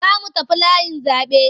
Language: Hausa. Za mu tafi layin zaɓe.